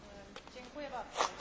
Panie przewodniczący!